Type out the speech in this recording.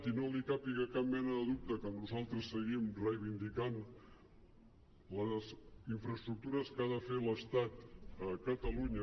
i no li càpiga cap mena de dubte que nosaltres seguim reivindicant les infraestructures que ha de fer l’estat a catalunya